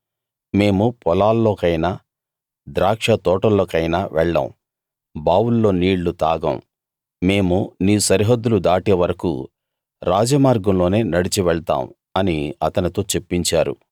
మేము పొలాల్లోకైనా ద్రాక్షతోటల్లోకైనా వెళ్ళం బావుల్లో నీళ్లు తాగం మేము నీ సరిహద్దులు దాటే వరకూ రాజమార్గంలోనే నడిచి వెళ్తాం అని అతనితో చెప్పించారు